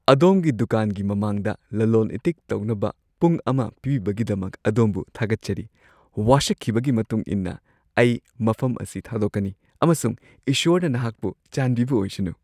ꯑꯗꯣꯝꯒꯤ ꯗꯨꯀꯥꯟꯒꯤ ꯃꯃꯥꯡꯗ ꯂꯂꯣꯜ-ꯏꯇꯤꯛ ꯇꯧꯅꯕ ꯄꯨꯡ ꯑꯃ ꯄꯤꯕꯤꯕꯒꯤꯗꯃꯛ ꯑꯗꯣꯝꯕꯨ ꯊꯥꯒꯠꯆꯔꯤ ꯫ ꯋꯥꯁꯛꯈꯤꯕꯒꯤ ꯃꯇꯨꯡ ꯏꯟꯅ ꯑꯩ ꯃꯐꯝ ꯑꯁꯤ ꯊꯥꯗꯣꯛꯀꯅꯤ, ꯑꯃꯁꯨꯡ ꯏꯁ꯭ꯋꯔꯅ ꯅꯍꯥꯛꯄꯨ ꯆꯥꯟꯕꯤꯕ ꯑꯣꯏꯁꯅꯨ ꯫ (ꯄꯣꯠꯐꯝ ꯐꯝꯕ)